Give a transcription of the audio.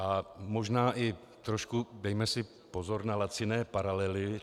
A možná si trošku dejme i pozor na laciné paralely.